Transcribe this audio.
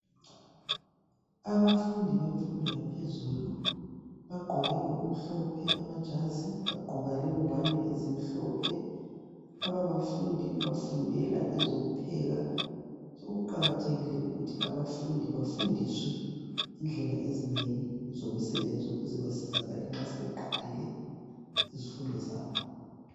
Abafundi bemfundo yaphezulu bagqoke okumhlophe amajazi bagqoka lengwane ezimhlophe. Laba bafundi bafundela ezokupheka kuqakathekile ukuthi abafundi bafundiswe indlela ezinengi zomsebenzi ukuze basizakale sebeqedile izifundo zabo.